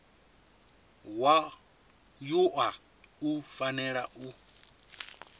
wa wua u fanela u